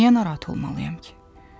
Niyə narahat olmalıyam ki?